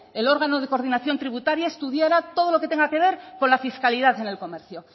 el órgano de coordinación tributaria estudiara todo lo que tenga que ver con la fiscalidad en el comercio